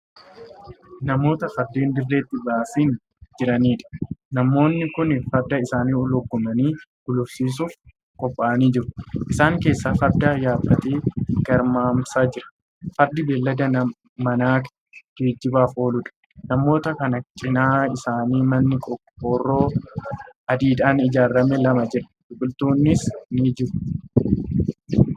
Namoota Fardeen dirreetti baasinii jiraniidha. namoonni kuni Farda isaanii lugaamanii gulufsiisuuf qophaa'anii jiru. Isaan keessaa Farda yaabbatee garmaamsaa jira. Fardi beeylada manaa geejjibaaf ooluudha. Namoota Kan cinaa isaanii manni qorqoorroo adiidhaan ijaarame lama jira. Biqiltoonnis ni jiru.